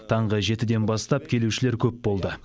таңғы жетіден бастап келушілер көп болды